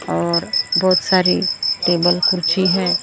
और बहुत सारी टेबल कुर्सी हैं और।